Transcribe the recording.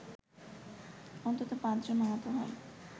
অন্তত পাঁচজন আহত হয়